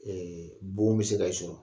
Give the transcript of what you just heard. Ɛɛ bon bɛ se ka sɔrɔ